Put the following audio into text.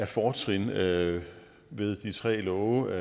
fortrin ved de tre love